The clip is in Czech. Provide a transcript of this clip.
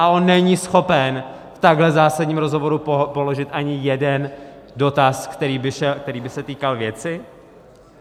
A on není schopen v takhle zásadním rozhovoru položit ani jeden dotaz, který by se týkal věci?